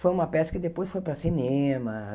Foi uma peça que depois foi para cinema.